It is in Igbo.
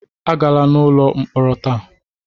Agala n'ụlọ mkpọrọ taa!